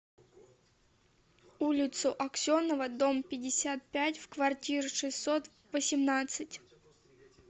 улицу аксенова дом пятьдесят пять в квартиру шестьсот восемнадцать